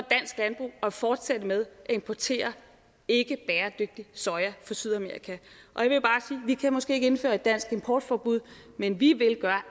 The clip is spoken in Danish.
at fortsætte med at importere ikkebæredygtig soja fra sydamerika at vi måske ikke kan indføre et dansk importforbud men vi vil gøre